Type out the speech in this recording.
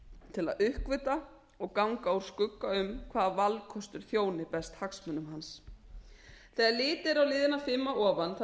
til að uppgötva og ganga úr skugga um hvaða valkostur þjóni best hagsmunum hans þegar litið er á liðina fimm að ofan þann